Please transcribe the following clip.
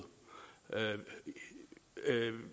rive